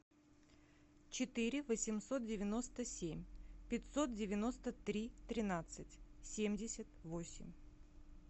четыре восемьсот девяносто семь пятьсот девяносто три тринадцать семьдесят восемь